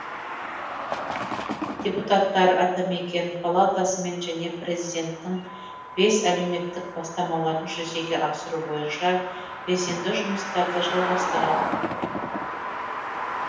депутаттар атамекен палатасымен және президенттің бес әлеуметтік бастамаларын жүзеге асыру бойынша белсенді жұмыстарды жалғастырады